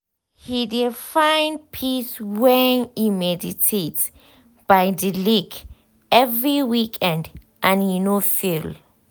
he de find peace when e meditate by de lake every weekend and he no fail.